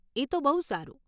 એ તો બહુ સારું.